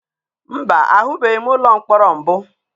Mba, ahụbeghị m ụlọ mkpọrọ mbụ.